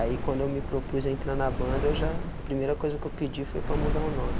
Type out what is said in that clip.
Aí quando eu me propus entrar na banda, eu já, a primeira coisa que eu pedi foi para mudar o nome.